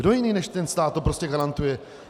Kdo jiný než ten stát to prostě garantuje?